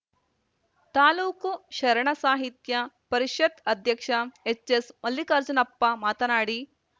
ತಾಲೂಕು ಶರಣ ಸಾಹಿತ್ಯ ಪರಿಷತ್‌ ಅಧ್ಯಕ್ಷ ಎಚ್‌ಎಸ್‌ಮಲ್ಲಿಕಾರ್ಜುನಪ್ಪ ಮಾತನಾಡಿ